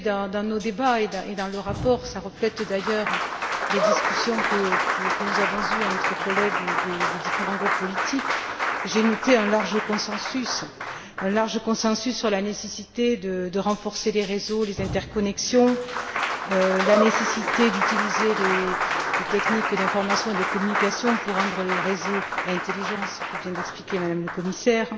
Dans nos débats et dans le rapport, qui reflètent d'ailleurs les discussions que nous avons eues entre collègues des différents groupes politiques, j'ai noté un large consensus sur la nécessité de renforcer les réseaux, les interconnexions, la nécessité d'utiliser les techniques d'information et de communication pour rendre les réseaux intelligents ce que vient d'expliquer Mme la commissaire